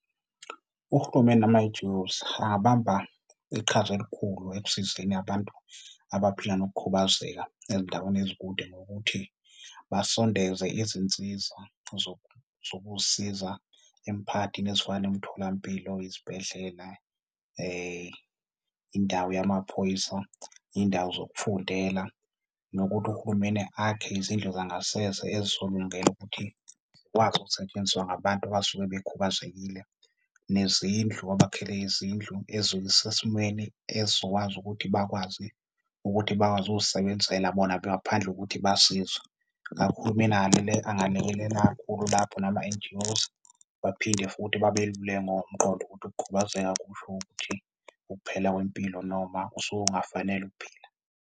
Urhulumeni nama-N_G_Os angabamba iqhaza elikhulu ekusizeni abantu abaphila nokukhubazeka ezindaweni ezikude ngokuthi basondeze izinsiza zokuzisiza emphakathini ezifana nemitholampilo, izibhedlela, indawo yamaphoyisa, iy'ndawo zokufundela nokuthi uhulumeni akhe izindlu zangasese ezizolungela ukuthi zikwazi ukusetshenziswa ngabantu abasuke bekhubazekile. Nezindlu, abakhele izindlu ezizoba sesimweni esizokwazi ukuthi bakwazi ukuzisebenzisela bona ngaphandle kokuthi basizwe. Ngakho, uhulumeni angalekelela kakhulu lapho nama-N_G_Os, baphinde futhi babeluleke ngokomqondo ukuthi ukukhubazeka akusho ukuthi ukuphela kwempilo noma usuke ungafanele ukuphila.